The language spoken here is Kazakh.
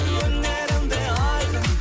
өнерім де айқын